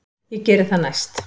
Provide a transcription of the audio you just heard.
Ég geri það næst.